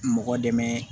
Mɔgɔ dɛmɛ